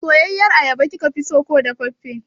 Soyayyar ayaba kikeso ko dafaffe?